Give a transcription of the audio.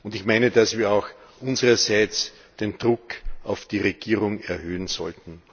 Ich meine, dass wir auch unsererseits den Druck auf die Regierung erhöhen sollten.